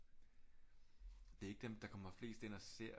Det er ikke dem der kommer flest ind og ser